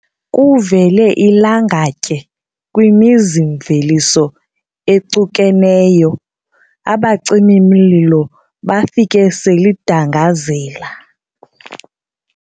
Kuvele ilangatye kwimizi-mveliso ecukeneyo, abacimi-mlilo bafike selidangazela.